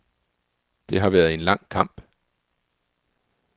Det har været en lang kamp.